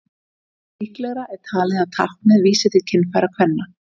líklegra er talið að táknið vísi til kynfæra kvenna